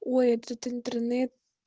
ой этот интернет